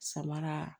Samara